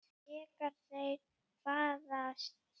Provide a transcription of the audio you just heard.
Þegar þeir fæðast